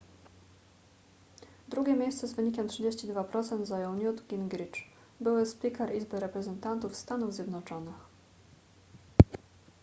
drugie miejsce z wynikiem 32% zajął newt gingrich były spiker izby reprezentantów stanów zjednoczonych